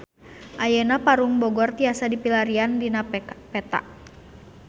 Ayeuna Parung Bogor tiasa dipilarian dina peta